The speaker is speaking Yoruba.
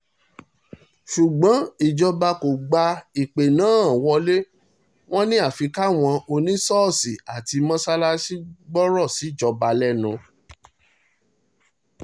ṣùgbọ́n ìjọba kò gba ìpè náà wọlé wọn ni àfi káwọn oníṣọ́ọ̀ṣì àti mọ́sáàsì gbọ́rọ̀ síjọba lẹ́nu